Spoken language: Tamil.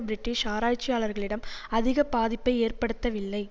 பிரிட்டிஷ் ஆராய்ச்சியாளர்களிடம் அதிக பாதிப்பை ஏற்படுத்தவில்லை